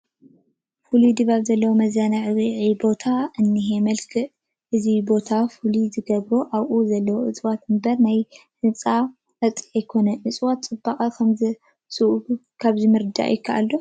ፍሉይ ድባብ ዘለዎ መዘናግዒ ቦታ እኒሀ፡፡ መልክዕ እዚ ቦታ ፍሉይ ዝገበሮ ኣብኡ ዘለዉ እፅዋት እምበር ናይ ህንፃኡ ፅባቐ ኣይኮነን፡፡ እፅዋት ፅባቐ ከምዘምዝዑ ካብዚ ምርዳእ ይከኣል ዶ?